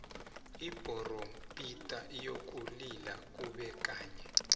ibhorompita iyokulila kube kanye